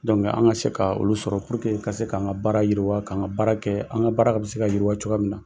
an ka se ka olu sɔrɔ puruke ka se k'an ka baara yiriwa, k'an ka baara kɛ. An ka baara bɛ se ka yiriwa cogoya min na.